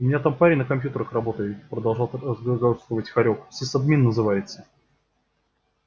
у меня там парень на компьютерах работает продолжал разглагольствовать хорёк сисадмин называется